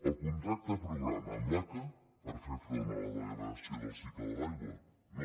el contracte programa amb l’aca per fer front a la degradació del cicle de l’aigua no